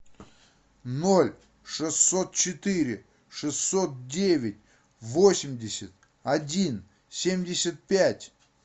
ноль шестьсот четыре шестьсот девять восемьдесят один семьдесят пять